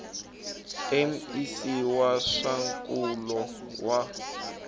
mec wa swa nkulo wa